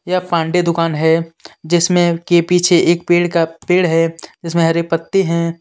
यह पांडे दूकान है जिसमें के पीछे एक पेड़ का पेड़ है जिसमे हरी पत्ती है.